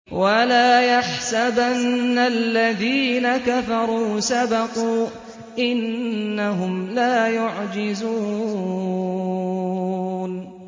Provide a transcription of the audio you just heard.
وَلَا يَحْسَبَنَّ الَّذِينَ كَفَرُوا سَبَقُوا ۚ إِنَّهُمْ لَا يُعْجِزُونَ